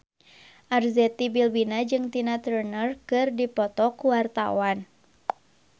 Arzetti Bilbina jeung Tina Turner keur dipoto ku wartawan